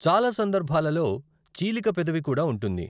చాలా సందర్భాలలో, చీలిక పెదవి కూడా ఉంటుంది.